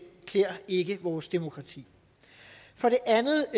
klæder ikke vores demokrati for det andet